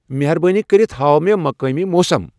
مہربٲنی کٔرِتھ ہاو مے مقٲمی موسم ۔